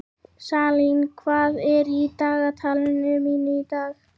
Salín, hvað er á dagatalinu mínu í dag?